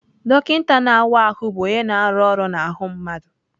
Dọkịta na-awa ahụ bụ onye na-arụ ọrụ n'ahụ mmadụ.